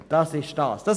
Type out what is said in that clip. Dies wäre das Ziel.